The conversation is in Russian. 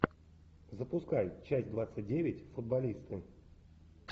запускай часть двадцать девять футболисты